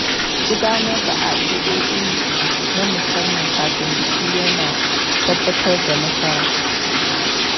Gudanar da addu’o’i na musamman kafin biki ya na tabbatar da nasara.